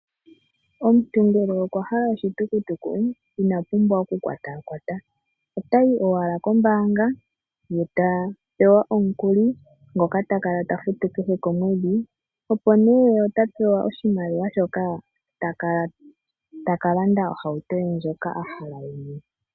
Omuntu ngele okwahala oshitukutuku ina pumbwa okukwatakwata. Otayi owala kombaanga , eta pewa omukuli ngoka ta kala tafutu kehe komwedhi , opo apewe oshimaliwa shoka takala taka landa ohauto ye ndjoka ahala yemwene.